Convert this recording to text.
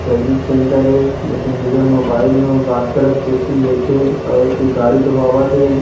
सरविच् centre हे एकझन भैया मोबईल म बात करत खुरशी में बेठे हे अउ इति गाड़ी धोवावथे ।